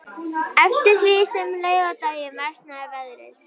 Eftir því sem leið á daginn versnaði veðrið.